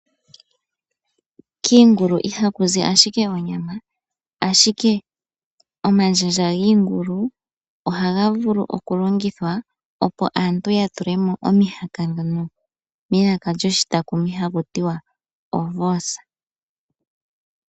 Kiingulu ihaku zi ashike onyama ashike omanjanja giingulu ohaga vulu okulongithwa opo aantu ya tulemo mihaka ndhono melaka lyshitakumi haku tiwa ovors.